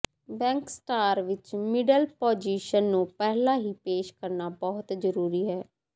back star ਵਿਚ middle position ਨੂੰ ਪਹਿਲਾਂ ਹੀ ਪੇਸ਼ ਕਰਨਾ ਬਹੁਤ ਜ਼ਰੂਰੀ ਹੈ